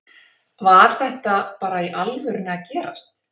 Var þetta bara í alvörunni að gerast??